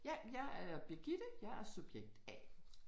Ja, jeg er Birgitte. Jeg er subjekt A